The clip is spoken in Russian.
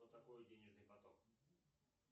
что такое денежный поток